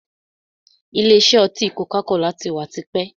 Ìlé isẹ́ oti koka-kola tí wá tipẹ́.